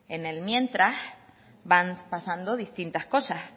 en el mientras van pasando distintas cosas